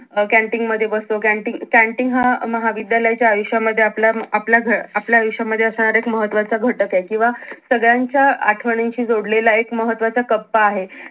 अं canteen मध्ये बसतो canteen अं canteen हा महाविद्यालयाच्याआयुष्यामध्ये आपल्या आपल्या घ अं आपल्या आयुष्यामध्ये असणारा एक महत्वाचा घटक आहे किंवा सगळ्यांच्या आठवणींशी जोडलेला एक महत्वाचा कप्पा आहे.